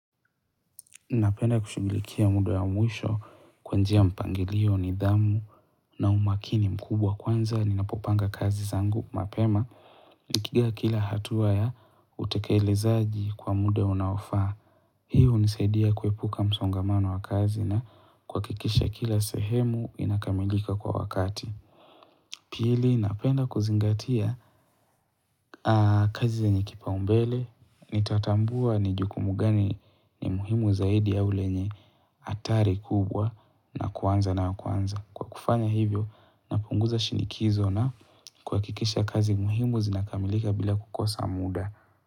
Napenda kushulikia muda ya mwisho kwa njia ya mpangilio nidhamu na umakini mkubwa kwanza. Ninapopanga kazi zangu mapema nikiigia kila hatua ya utekelezaji kwa muda unaofaa. Hiyo unisadia kuepuka msongamano wa kazi na kwakikisha kila sehemu inakamilika kwa wakati. Pili napenda kuzingatia kazi enye kipaumbele, nitatambua ni jukumu gani ni muhimu zaidi au lenye hatari kubwa na kuanza na ya kwanza. Kwa kufanya hivyo napunguza shinikizo na kuhakikisha kazi muhimu zinakamilika bila kukosa muda.